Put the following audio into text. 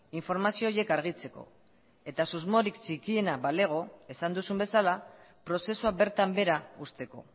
informazio horiek argitzeko eta susmorik txikiena balego esan duzun bezala prozesua bertan behera uzteko